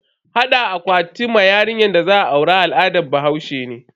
Hada akwati ma yarinyar da za a aura al'adar bahaushe ne.